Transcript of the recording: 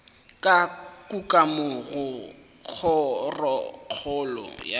ka kukamo go kgorokgolo ya